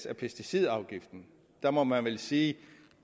af pesticidafgiften der må man vel sige